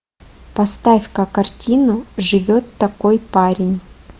поставь ка картину живет такой парень